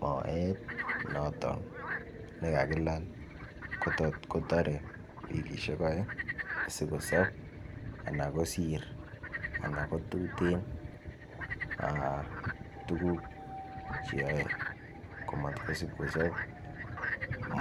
Moet noton ne kakilal kotore wikisiek aeng' asi kosob anan kosir al tuguk Che yae komasib komasib komisib kosob